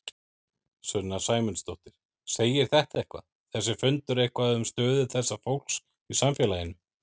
Sunna Sæmundsdóttir: Segir þetta eitthvað, þessi fundur eitthvað um stöðu þessa fólks í samfélaginu?